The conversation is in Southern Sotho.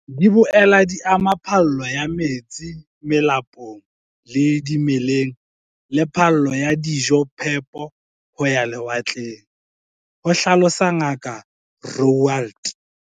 "Di boela di ama phallo ya metsi melapong le dimeleng le phallo ya dijophepo ho ya lewatleng," ho hlalosa Ngaka Roualt.